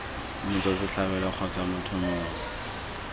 motswa setlhabelo kgotsa motho mongwe